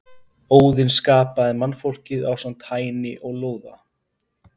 Óðinn skapaði mannfólkið ásamt Hæni og Lóða.